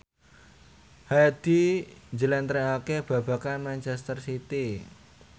Hadi njlentrehake babagan manchester city